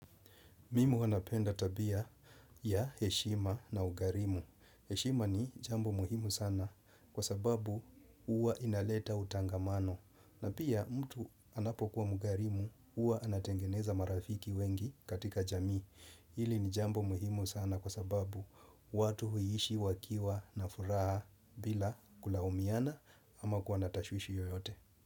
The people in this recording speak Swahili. Mimi huwa napenda tabia ya heshima na ukarimu. Heshima ni jambo muhimu sana kwa sababu huwa inaleta utangamano. Na pia mtu anapokuwa mkarimu, huwa anatengeneza marafiki wengi katika jamii. Hili ni jambo muhimu sana kwa sababu watu huishi wakiwa na furaha bila kulaumiana ama kuwa na tashwishi yoyote.